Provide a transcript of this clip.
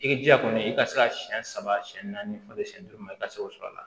I jija kɔni i ka se ka siyɛn saba siyɛn naani fɔlen siyɛn duuru ma i ka se k'o sɔrɔ a la